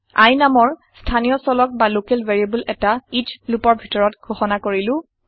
i নামৰ স্থানীয় চলক বা লকেল ভেৰিয়েবল এটা এচ লুপৰ ভিতৰত ঘোষণা কৰিলো